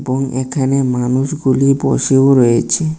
এবং এখানে মানুষগুলি বসেও রয়েছে।